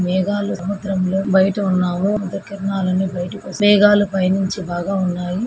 మేఘాలు సముద్రంలో బయట ఉన్నాము కిరణాలన్నీ బయటికి వస్తున్నాయి. మేఘాలు పైనుంచి బాగా ఉన్నాయి.